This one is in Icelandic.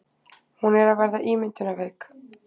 Hún er að verða ímyndunarveik.